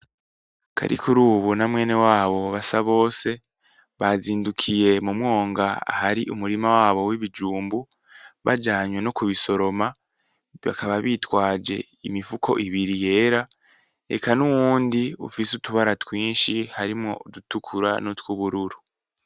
Karikurubu na mwene wabo Basabose bazindukiye mumwonga ahari umurima wabo wibijumbu bajanwe nokubisoroma bakaba bitwaje imifuko ibiri yera eka n'uwundi ufise utubara twishi harimwo udukura nutwubururu